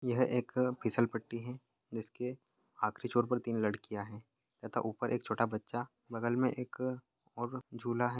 यह एक फिसल पट्टी हैं जिसके आखरी छोर पर तीन लड़कियाँ हैं तथा उपर एक छोटा बच्चा बगल में एक और झूला हैं।